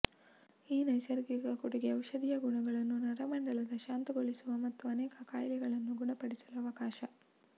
ಈ ನೈಸರ್ಗಿಕ ಕೊಡುಗೆ ಔಷಧೀಯ ಗುಣಗಳನ್ನು ನರಮಂಡಲದ ಶಾಂತಗೊಳಿಸುವ ಮತ್ತು ಅನೇಕ ಕಾಯಿಲೆಗಳನ್ನು ಗುಣಪಡಿಸಲು ಅವಕಾಶ